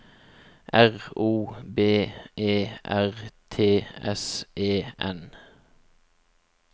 R O B E R T S E N